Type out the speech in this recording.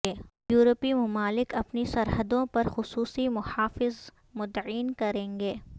یورپی ممالک اپنی سرحدوں پر خصوصی محافظ متعین کریں گے